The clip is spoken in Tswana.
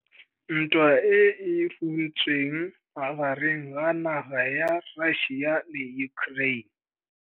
Ntwa e e runtseng magareng ga naga ya Russia le Ukraine.